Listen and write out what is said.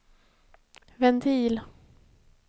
ventil